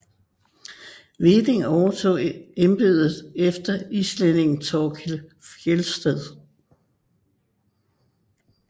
Hveding overtog embedet efter islændingen Thorkild Fjeldsted